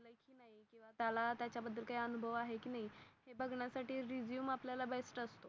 त्याला त्याच्या बदल काही अनुभव आहे कि नाही. हे बागन्यासाठी रेझूमे आपल्याला बेस्ट असते.